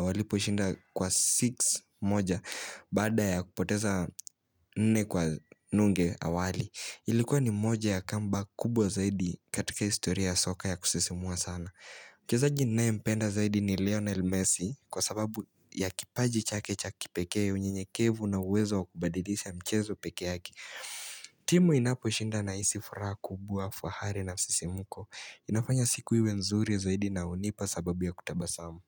walipo shinda kwa 6 moja Bada ya kupoteza nne kwa nunge awali Ilikuwa ni moja ya kamba kubwa zaidi katika historia soka ya kusisimua sana mchezaji ninaye mpenda ni Lionel Messi Kwa sababu ya kipaji cha kecha kipekee unyenyekevu na wezo kubadilisha mchezo peke yake timu inaposhinda nahisi furaha kubwa fahari na msisimuko inafanya siku iwe nzuri zaidi na hunipa sababu ya kutabasamu.